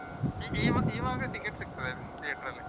ಹ ಇವಾಗ ticket ಸಿಗ್ತದೆ theater ಲ್ಲಿ.